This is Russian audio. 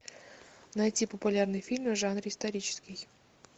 найти популярные фильмы в жанре исторический